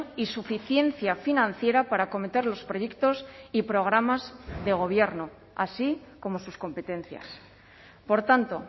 y suficiencia financiera para acometer los proyectos y programas de gobierno así como sus competencias por tanto